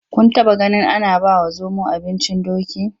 Kun taɓaganin ana bawa zomo abincin doki?